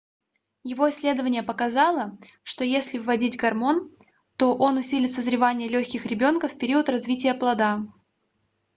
его исследование показало что если вводить гормон то он усилит созревание легких ребёнка в период развития плода